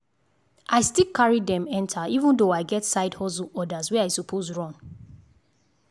i still carry dem enter even though i get side hustle orders wey i suppose run.